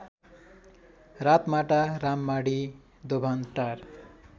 Ratmata Rammadhi Dobhantar